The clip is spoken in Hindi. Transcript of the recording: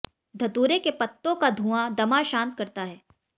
धतूरे के पत्तों का धूँआ दमा शांत करता है